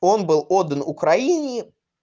он был отдан украине